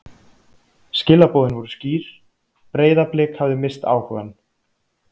Skilaboðin voru skýr: Breiðablik hafði misst áhugann.